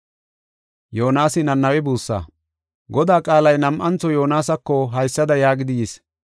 Godaa qaalay nam7antho Yoonasako haysada yaagidi yis.